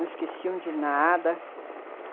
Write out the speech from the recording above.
Não esqueciam de nada.